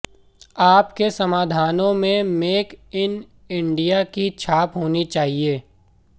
आपके समाधानों में मेक इन इंडिया की छाप होनी चाहिए